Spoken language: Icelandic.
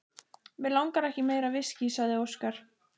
Mig langar ekki í meira viskí, sagði Óskar.